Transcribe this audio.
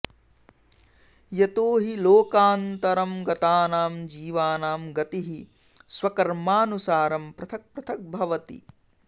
यतो हि लोकान्तरं गतानां जीवानां गतिः स्वकर्मानुसारं पृथक् पृथक् भवति